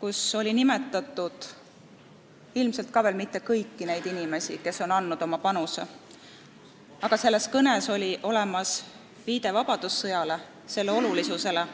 kus oli nimetatud neid inimesi – ilmselt mitte kõiki –, kes on andnud oma panuse, ning selles kõnes oli olemas ka viide vabadussõjale ja selle olulisusele.